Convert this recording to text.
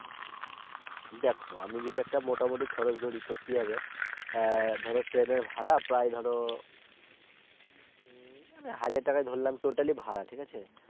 দেখো আমি যদি মোটা মুটি খরচ ধরি তো কি হবে আহ ধরো ট্রেনের ভাড়া প্রায় ধরো হাজার টাকা ধরলাম Total ই ভাড়া ঠিক আছে